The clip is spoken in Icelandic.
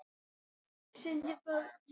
Gæta þess að nefna engin nöfn.